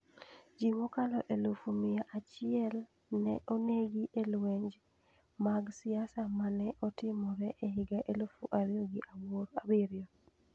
Ji mokalo elufu gi mia achielne onegi e lwenje mag siasa ma ne otimore e higa elufu ariyo gi abiryo.